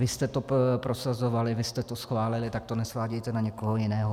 Vy jste to prosazovali, vy jste to schválili, tak to nesvádějte na někoho jiného.